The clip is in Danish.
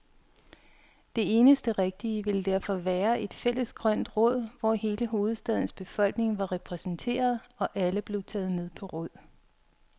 Det eneste rigtige ville derfor være et fælles grønt råd, hvor hele hovedstadens befolkning var repræsenteret, og alle blev taget med på råd.